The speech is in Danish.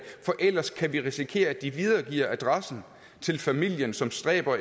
for ellers kan vi risikere at de videregiver adressen til familien som stræber